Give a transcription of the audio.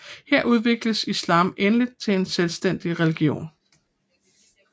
Her udvikledes islam endeligt til en selvstændig religion